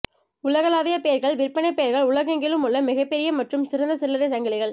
உலகளாவிய பெயர்கள் விற்பனைப் பெயர்கள் உலகெங்கிலும் உள்ள மிகப்பெரிய மற்றும் சிறந்த சில்லறை சங்கிலிகள்